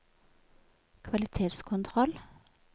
kvalitetskontroll